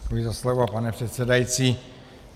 Děkuji za slovo, pane předsedající.